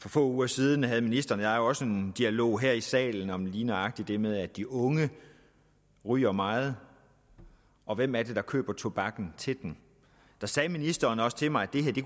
for få uger siden havde ministeren og jeg også en dialog her i salen om lige nøjagtig det med at de unge ryger meget og hvem er det der køber tobakken til dem der sagde ministeren også til mig